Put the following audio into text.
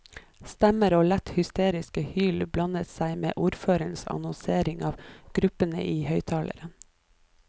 Stemmer og lett hysteriske hyl blander seg med ordførerens annonsering av gruppene i høyttaleren.